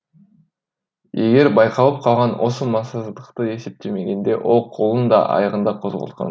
егер байқалып қалған осы массыздықты есептемегенде ол қолын да аяғын да қозғалтқан